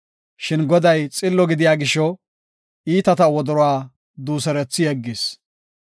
Shin Goday xillo gidiya gisho iitata wodoruwa duuserethi yeggis.